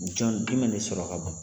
Jɔn jumɛn de sɔrɔ ka bon?